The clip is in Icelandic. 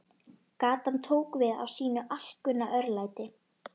Gatan tók við af sínu alkunna örlæti.